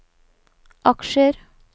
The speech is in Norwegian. aksjer